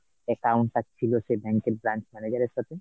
account টা ছিল সেই bank এর branch manager এর সাথে ?